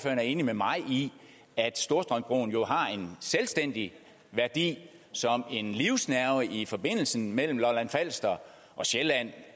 er enig med mig i at storstrømsbroen jo har en selvstændig værdi som en livsnerve i forbindelsen mellem lolland falster og sjælland